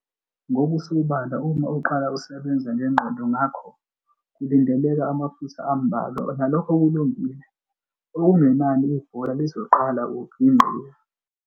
Ngokusobala uma uqala usebenza ngengqondo ngakho kulindeleka amaphutha ambalwa nalokho kulungile, okungenani ibhola lizoqala ukugingqika.